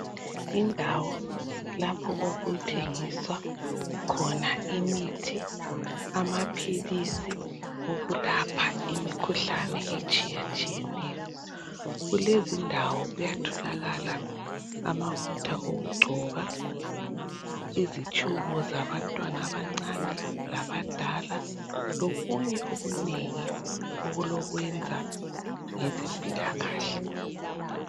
indawo lapho okuthengiswa khona imithi amaphilisi okulapha imikhuhlane etshiyatshiyeneyo kulezindawo kuyatholakala amafutha okugcoba izitshubo zabantwana abancane labadala lokunye okunengi okulokwenza ngezempilakahle